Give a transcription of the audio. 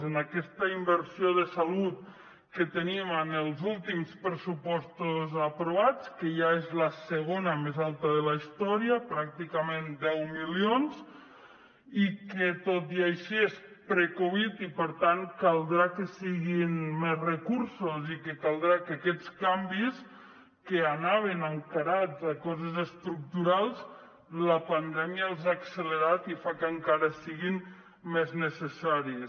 en aquesta inversió de salut que teníem en els últims pressupostos aprovats que ja és la segona més alta de la història pràcticament deu milions i que tot i així és pre covid i per tant caldrà que siguin més recursos i que caldrà que aquests canvis que anaven encarats a coses estructurals la pandèmia els ha accelerat i fa que encara siguin més necessaris